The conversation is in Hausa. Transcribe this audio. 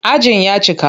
Ajin ya cika.